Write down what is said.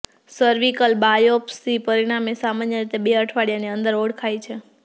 cervical biopsy પરિણામો સામાન્ય રીતે બે અઠવાડિયાની અંદર ઓળખાય છે